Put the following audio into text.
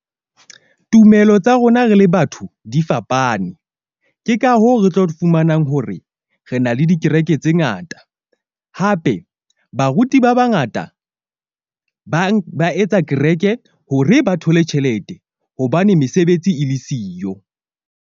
Tumelo tsa rona re le batho di fapane, ke ka hoo re tlo fumanang hore re na le dikereke tse ngata. Hape, baruti ba bangata ba etsa kereke hore ba thole tjhelete. Hobane mesebetsi e le siyo.